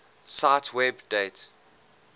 cite web date